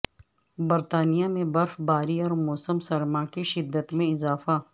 برطانیہ میں برف باری اور موسم سرما کی شدت میں اضافہ